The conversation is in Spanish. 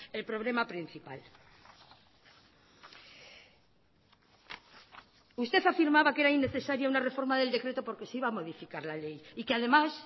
el problema principal usted afirmaba que era innecesaria una reforma del decreto porque se iba a modificar la ley y que además